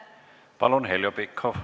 Palun, Heljo Pikhof!